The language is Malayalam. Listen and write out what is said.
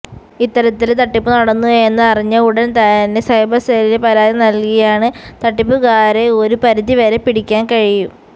ഇത്തരത്തില് തട്ടിപ്പുനടന്നു എന്ന് അറിഞ്ഞ ഉടന് തന്നെ സൈബര് സെല്ലില് പരാതി നല്കിയാല് തട്ടിപ്പുകാരെ ഒരു പരിധിവരെ പിടിക്കാന് കഴിയും